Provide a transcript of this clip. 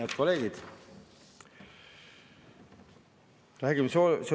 Head kolleegid!